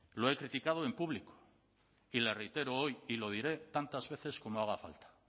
lo he criticado en público y le reitero hoy y lo diré tantas veces como haga falta